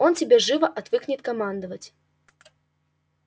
он тебе живо отвыкнет командовать